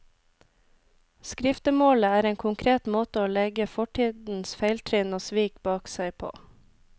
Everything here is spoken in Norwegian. Skriftemålet er en konkret måte å legge fortidens feiltrinn og svik bak seg på.